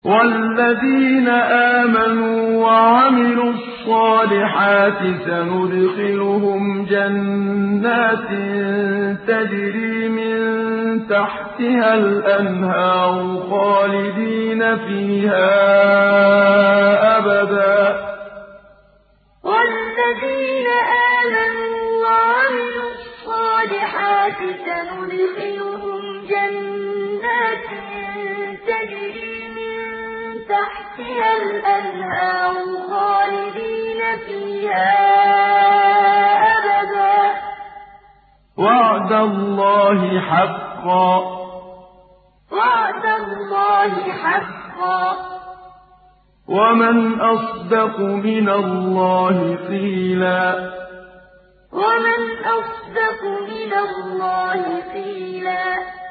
وَالَّذِينَ آمَنُوا وَعَمِلُوا الصَّالِحَاتِ سَنُدْخِلُهُمْ جَنَّاتٍ تَجْرِي مِن تَحْتِهَا الْأَنْهَارُ خَالِدِينَ فِيهَا أَبَدًا ۖ وَعْدَ اللَّهِ حَقًّا ۚ وَمَنْ أَصْدَقُ مِنَ اللَّهِ قِيلًا وَالَّذِينَ آمَنُوا وَعَمِلُوا الصَّالِحَاتِ سَنُدْخِلُهُمْ جَنَّاتٍ تَجْرِي مِن تَحْتِهَا الْأَنْهَارُ خَالِدِينَ فِيهَا أَبَدًا ۖ وَعْدَ اللَّهِ حَقًّا ۚ وَمَنْ أَصْدَقُ مِنَ اللَّهِ قِيلًا